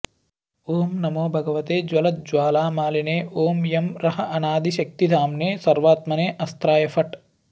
ॐ नमो भगवते ज्वलज्ज्वालामालिने ॐ यं रः अनादिशक्तिधाम्ने सर्वात्मने अस्त्राय फट्